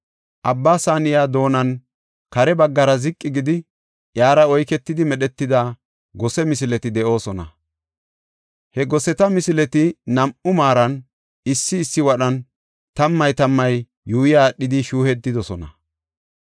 Abba Saaniya doonan kare baggara ziqi gidi, iyara oyketidi medhetida gose misileti de7oosona; he goseta misileti nam7u maaran, issi issi wadhan tammay tammay yuuyi aadhidi shuuyetidosona.